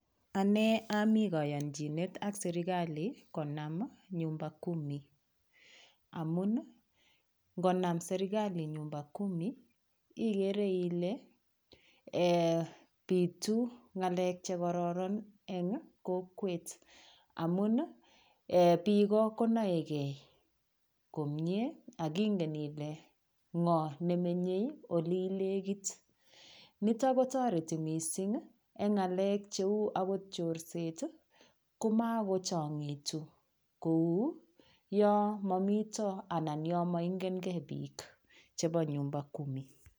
Ane ami kayonjinet ak serikali konam nyumba kumi amun ngonam serikali nyumba kumi ikere ile pitu ng'alek chekororon eng' kokwet amun biiko konoegei komye akingen ile ng'o nemenyei ole ilekit nito kotoreti mising' eng' ng'alek cheu akot chorset komakochong'itu kou yo momito anan yo maingengei biik chebo nyumba kumi.